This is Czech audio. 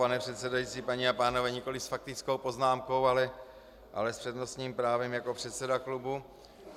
Pane předsedající, paní a pánové, nikoliv s faktickou poznámkou, ale s přednostním právem jako předseda klubu.